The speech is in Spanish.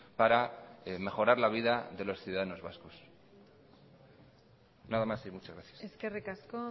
para mejorar la vida de los ciudadanos vascos nada más y muchas gracias eskerrik asko